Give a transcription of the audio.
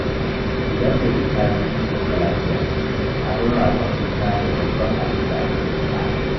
Idan mai juna biyu ta sauka lafiya, abin ragon suna ne babban abinda aka fi buƙata.